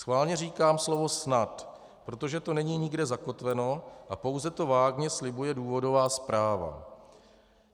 Schválně říkám slovo snad, protože to není nikde zakotveno a pouze to vágně slibuje důvodová zpráva.